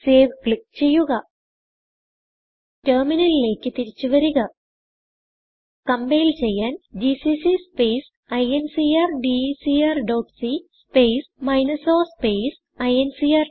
save click ചെയ്യുക ടെർമിനലിലേക്ക് തിരിച്ചു വരിക കമ്പൈൽ ചെയ്യാൻ GCC space incrdecr dot c space minus o space INCR